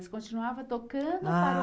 Você continuava tocando ou parou?